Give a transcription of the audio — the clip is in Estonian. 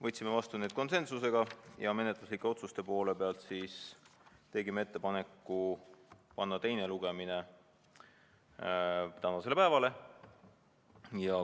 Võtsime need vastu konsensusega ja menetluslikest otsustest tegime ettepaneku panna teine lugemine tänasele päevale.